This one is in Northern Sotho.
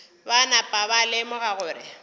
ba napa ba lemoga gore